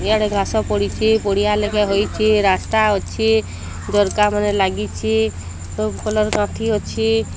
ଇଆଡ଼େ ଘାସ ପଡ଼ିଚି ପଡ଼ିଆ ଲେଖେ ହୋଇଚି ରାସ୍ତା ଅଛି ଝରକା ମାନେ ଲାଗିଛି ସବ୍ କଲର୍ କାନ୍ଥି ଅଛି।